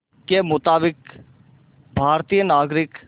के मुताबिक़ भारतीय नागरिक